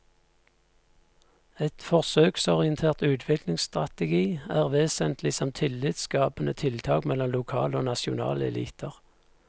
En forsøksorientert utviklingsstrategi er vesentlig som tillitsskapende tiltak mellom lokale og nasjonale eliter.